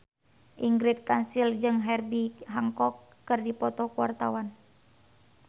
Ingrid Kansil jeung Herbie Hancock keur dipoto ku wartawan